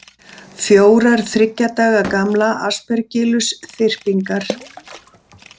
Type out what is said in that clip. Fjórar þriggja daga gamlar Aspergillus-þyrpingar.